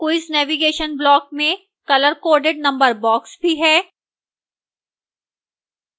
quiz navigation block में colorcoded number boxes भी हैं